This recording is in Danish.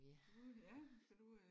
Ja kan du øh?